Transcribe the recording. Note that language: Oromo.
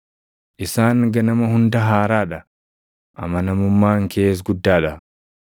Isaan ganama hunda haaraa dha; amanamummaan kees guddaa dha.